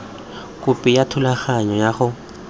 khopi ya thulaganyo ya go